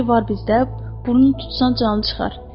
Biri var bizdə, burnunu tutsan canı çıxar.